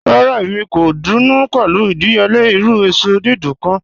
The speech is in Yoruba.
Rárá, èmi kò dùnú pé̩lú ìdíyèle̩ irù èsò dídùn kàn.